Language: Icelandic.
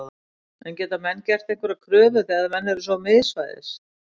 En geta menn gert einhverjar kröfur þegar menn eru svo miðsvæðis?